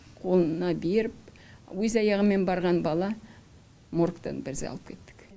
қолына беріп өз аяғыммен барған бала моргтан біз алып кеттік